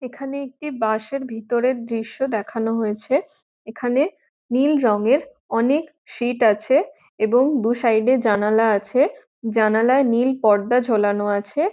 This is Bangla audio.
এখানে একটি বাস এর ভেতরের দৃশ্য দেখানো হয়েছে এখানে নীল রঙের অনেক সিট্ আছে এবং দু সাইড এ জানালা আছে জানালায় নীল পর্দা ঝোলানো আছে।